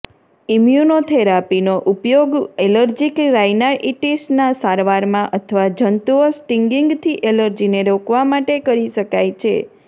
ઇમ્યુનોથેરાપીનો ઉપયોગ એલર્જીક રાયનાઇટીસના સારવારમાં અથવા જંતુઓ સ્ટિંગિંગથી એલર્જીને રોકવા માટે કરી શકાય છે